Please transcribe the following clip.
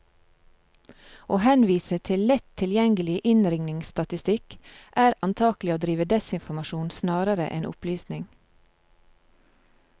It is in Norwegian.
Å henvise til lett tilgjengelig innringningsstatistikk, er antagelig å drive desinformasjon snarere enn opplysning.